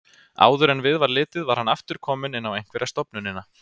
Áður en við var litið var hann aftur kominn inn á einhverja stofnunina.